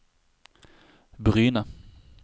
Bryne